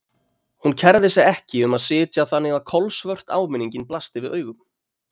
Hún kærði sig ekki um að sitja þannig að kolsvört áminningin blasti við augum.